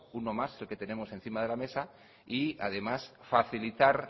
uno más el que tenemos encima de la mesa y además facilitar